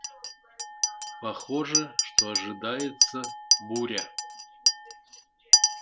похоже что ожидается буря